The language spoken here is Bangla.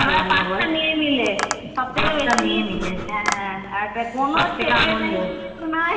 আরো আমরা পাঁচ তা মেয়ে মিলে হ্যাঁ আমরা মেয়ে মিলে কোনো ছেলে